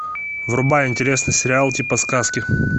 врубай интересный сериал типа сказки